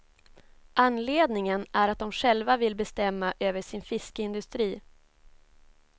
Anledningen är att de själva vill bestämma över sin fiskeindustri.